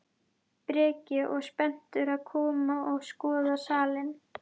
Breki: Og spenntur að koma og skoða salinn?